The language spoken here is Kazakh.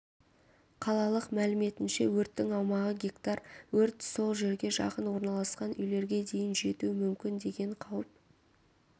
қалалық мәліметінше өрттің аумағы гектар өрт сол жерге жақын орналасқан үйлерге дейін жетуі мүмкін деген қауіп